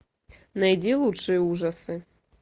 найди лучшие ужасы